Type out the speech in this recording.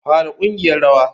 Fara ƙungiyar rawa.